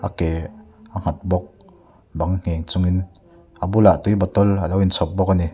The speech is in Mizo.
a ke a nghat bawk bang nghen chungin a bulah tui bottle alo in nghat bawk ani.